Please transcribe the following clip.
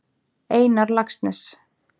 Einar Laxness.